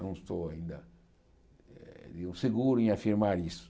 Não estou ainda eh seguro em afirmar isso.